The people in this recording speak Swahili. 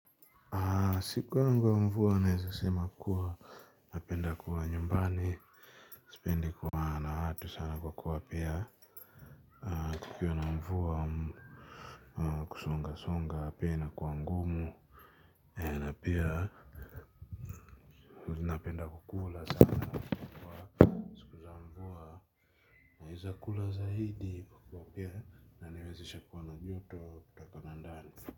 Siku yangu ya mvua naeza sema kuwa napenda kuwa nyumbani. Sipendi kuwa na watu sana kwa kuwa pia kukiwa na mvua kusonga songa pia inakuwa ngumu. Na pia mimi napenda kukula sana siku za mvua. Naeza kula zaidi kwa kuwa pia inaniwezesha kuwa na joto kutoka na ndani.